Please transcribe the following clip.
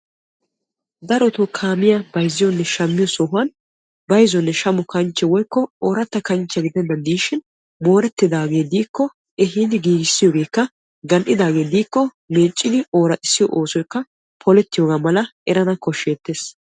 darotoo kaamiya bayzziyonne shammiyo sohuwan bayzzonne shamo kanchche woykko ooratta kanchche gidennan diishin moorettidaagee diikko ehiidi giigissiyoogeekka gal'idaagee diikko meeccdi ooraxxissiyoo oosoykka polettiyooga malaa erana koshsheettees.